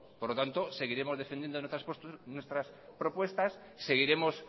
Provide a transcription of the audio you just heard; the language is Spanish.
por lo tanto seguiremos defendiendo nuestras propuestas seguiremos